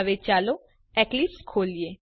હવે ચાલો એક્લીપ્સ ખોલીએ